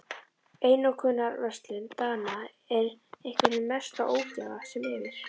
Einokunarverslun Dana er einhver hin mesta ógæfa sem yfir